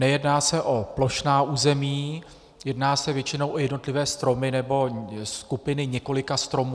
Nejedná se o plošná území, jedná se většinou o jednotlivé stromy nebo skupiny několika stromů.